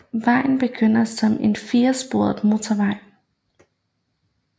Vejen begynder som en firespors motorvej